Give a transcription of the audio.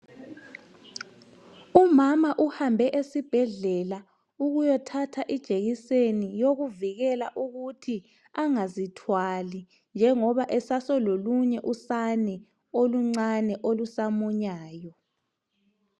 Umama uhambe esibhedlela ukuyothatha ijekiseni yokuvikela ukuthi angazithwali njengoba esase lolunye usane olumunyayo.